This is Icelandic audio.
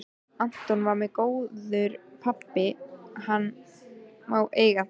Anton var góður pabbi, hann má eiga það.